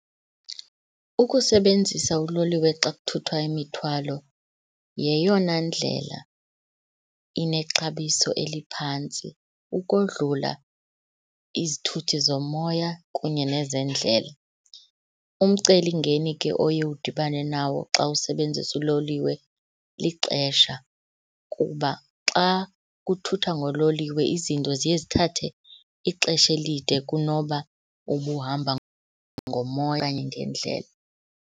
Ukusebenzisa uloliwe xa kuthuthwa imithwalo yeyona ndlela inexabiso eliphantsi ukodlula izithuthi zomoya kunye nezendlela. Umcelimngeni ke oye udibane nawo xa usebenzisa uloliwe lixesha, kuba xa kuthuthwa ngololiwe izinto ziye zithathe ixesha elide kunoba ubuhamba ngomoya okanye ngendlela.